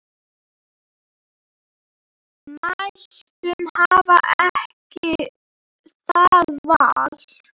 Mæður hafa ekki það val.